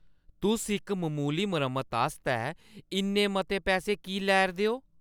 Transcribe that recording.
तुस इक ममूली मरम्मत आस्तै इन्ने मते पैसे की लै 'रदे ओ?